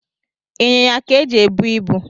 Ịnyịnya ka eji ebu ibu